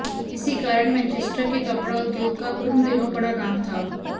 इसी कारण मैनचेस्टर के कपड़ा उद्योग का उन दिनों बड़ा नाम था